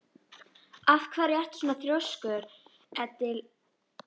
Af hverju ertu svona þrjóskur, Edil?